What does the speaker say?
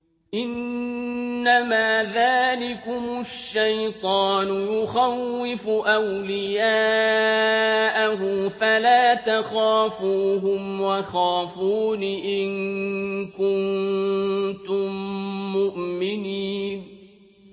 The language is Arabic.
إِنَّمَا ذَٰلِكُمُ الشَّيْطَانُ يُخَوِّفُ أَوْلِيَاءَهُ فَلَا تَخَافُوهُمْ وَخَافُونِ إِن كُنتُم مُّؤْمِنِينَ